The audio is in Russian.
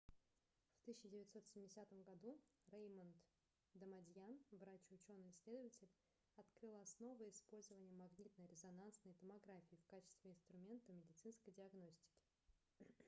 в 1970 году реймонд дамадьян врач и учёный-исследователь открыл основы использования магнитно-резонансной томографии в качестве инструмента медицинской диагностики